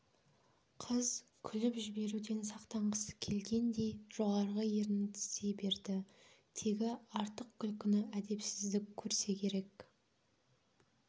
қыз күліп жіберуден сақтанғысы келгендей жоғарғы ернін тістей берді тегі артық күлкіні әдепсіздік көрсе керек